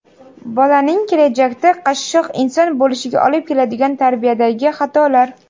Bolaning kelajakda qashshoq inson bo‘lishiga olib keladigan tarbiyadagi xatolar.